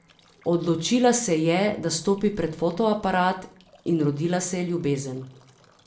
Odločila se je, da stopi pred fotoaparat, in rodila se je ljubezen.